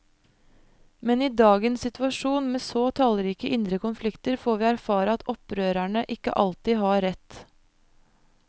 Men i dagens situasjon, med så tallrike indre konflikter, får vi erfare at opprørerne ikke alltid har rett.